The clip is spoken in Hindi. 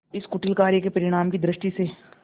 इस कुटिल कार्य के परिणाम की दृष्टि से